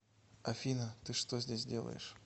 афина ты что здесь делаешь